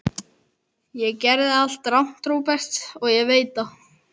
Ég gerði allt rangt, Róbert, og ég veit það.